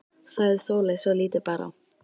sagði Sóley svo lítið bar á.